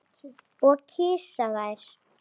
Og kyssa þær.